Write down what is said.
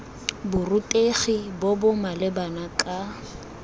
borutegi bo bo maleba kana